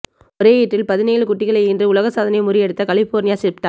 ஒரே ஈற்றில் பதினேழு குட்டிகளை ஈன்று உலக சாதனையை முறியடித்த கலிபோர்னியா ஷீப்டாக்